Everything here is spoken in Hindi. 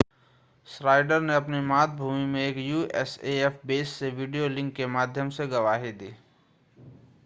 श्नाइडर ने अपनी मातृभूमि में एक usaf बेस से वीडियो लिंक के माध्यम से गवाही दी